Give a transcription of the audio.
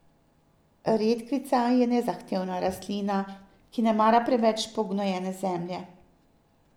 Redkvica je nezahtevna rastlina, ki ne mara preveč pognojene zemlje.